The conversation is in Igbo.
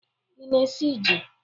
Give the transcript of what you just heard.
Ị na-esi jí?